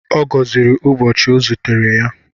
Ọ gọziri ụbọchị ọ zutere ya.